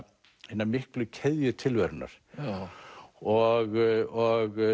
hina miklu keðju tilverunnar og